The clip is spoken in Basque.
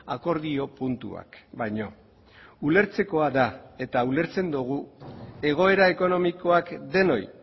akordio puntuak baino ulertzekoa da eta ulertzen dugu egoera ekonomikoak denoi